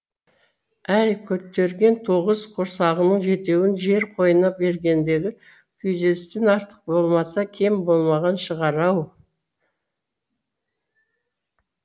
әй көтерген тоғыз құрсағының жетеуін жер қойнына бергендегі күйзелістен артық болмаса кем болмаған шығар ау